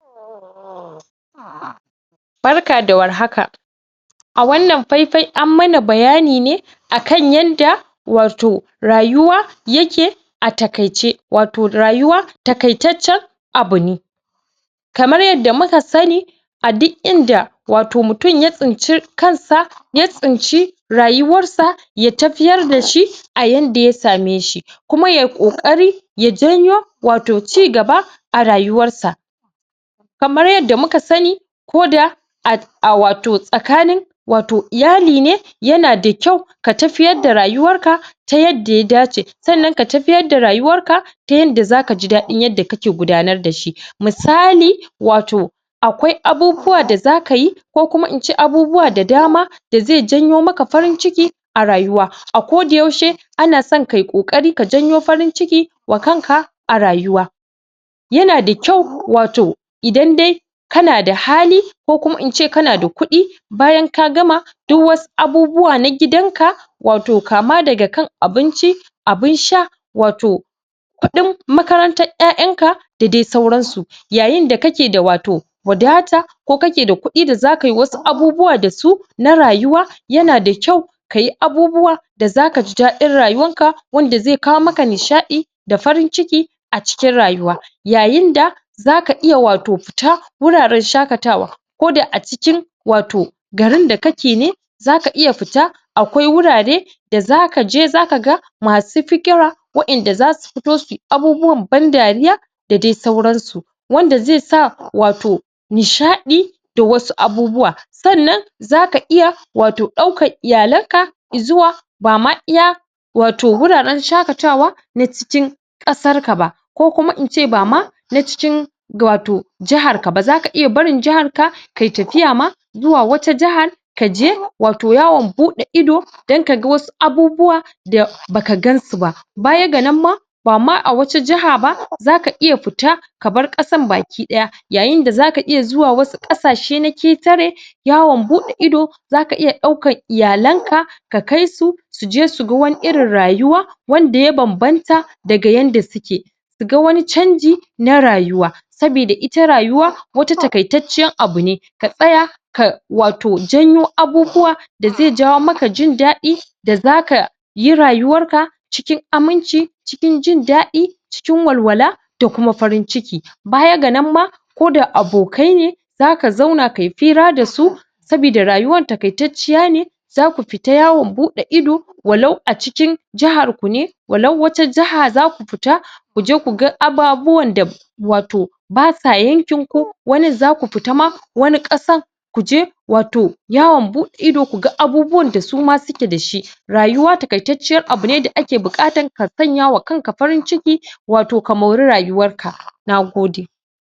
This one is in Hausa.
Barka da warhaka, a wannan faifai an mana bayani ne akan yadda wato rayuwa yake a taƙaice, wato rayuwa taƙaitaccen aby ne. kamar yadda muka sani a duk inda wato mutum ya tsinci kansa ya tsinci rayuwarsa ya tafiyar dashi a yanda ya sameshi kuma yayi ƙoƙari ya janyo wato ci gaba a rayuwarsa. Kamar yadda muka sani koda ah a wato tsakanin wato iyali ne yana da kyau ka tafiyar da rayuwarka ta yanda ya dace. Sannan ka tafiyar da rayuwarka ta yanda zakaji daɗin yadda kake gudanar dashi. misali wato akwai abubuwa da zakayi ko kuma ince abubuwa da dama da zai janyo maka farin ciki a rayuwa a koda yaushe anason kayi ƙoƙari ka janyo farin ciki wa kanka a rayuwa yana da kyau wato idan dai kana da hali ko kuma ince kana da kuɗi bayan ka gama duk wasu abubuwa na gidanka wato kama daga kan abinci, abin sha, wato kuɗin makarantar ƴaƴanka da dai sauransu. Yayin da kake da wato wadata, ko kakw da kuɗi da zakayi wasu abubuwa dasu na rayuwa yana da kyau kayi abubuwa da zakaji daɗin rayuwarka wanda zai kawo maka nishaɗi da farin ciki a cikin rayuwa. Yayin da zaka iya wato fita wuraaren shaƙatawa koda a cikin wato, garin da kake ne zaka iya fita, wato akwai wurare da zakaje zakaga masu fikira wa inda zasu fito suyi abubuwan ban dariya da dai sauransu. Wanda zaisa, wato nishadi da wasu abubuwa sannan zaka iya wato ɗaukan iyalanka izuwa bama iya wato wuraren shaƙatawa na cikim ƙasarka ba koku,a ince bama na cikin wato jaharka ba, zaka iya barin jaharka kayi tafiya ma zuwa wata jahar kaje wato yawon buɗe ido don kaga wasu abubuwa da baka gansu ba baya ga nan ma bama a wata jaha ba, zaka iya fita ka bar kasar baki ɗaya yayinda zaka iya zuwa wasu ƙasashe na ƙetare yawon buɗe ido zaka iya ɗaukar iyalanka ka kaisu suje suga wani irin rayuwa wanda ya banbanta daga yanda suke. Suga wani canji na rayuwa saboda ita rayuwa wata taƙaitacciyar abu ce ka tsaya ka wato janyo abubuwa da zai jayo maka jin daɗi da zakayi rayuwarka cikin cikin aminci, cikin jindadi, cikin walwala da kuma farin ciki Baya da nan ma koda abokai ne zaka zauna kayi hira dasu saboda rayuwar taƙaitacciya ce zaku fita yawon buɗe ido walau a cikin jah jahar ku ne walau wata jaha za ku fita kuje ku ga ababuwan da wato basa yankin ku wani za ku fita ma wani kuje wato yawon beɗe ido kuga abubuwan da suma suke da shi rayuwa taƙaitacciyar abu ne da ake buƙatan ka sanyawa kan ka farin ciki wato ka mori rayuwar ka